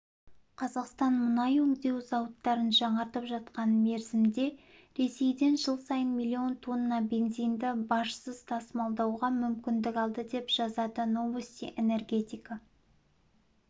қазақстан мұнай өңдеу зауыттарын жаңартып жатқан мерзімде ресейден жыл сайын миллион тонна бензинді бажсыз тасымалдауға мүмкіндік алды деп жазады новости энергетика